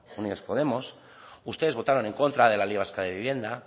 unidos podemos ustedes votaron en contra de la ley vasca de vivienda